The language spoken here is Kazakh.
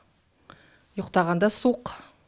ұйықтағанда суық